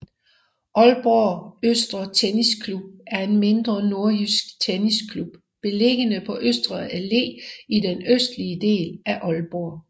Aalborg Østre Tennisklub er en mindre nordjysk tennisklub beliggende på Østre Allé i den østlige del af Aalborg